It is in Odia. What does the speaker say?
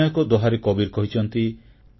ଅନ୍ୟ ଏକ ଦୋହାରେ କବୀର କହିଛନ୍ତି